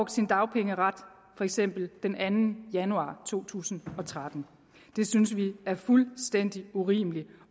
sin dagpengeret for eksempel den anden januar to tusind og tretten det synes vi er fuldstændig urimeligt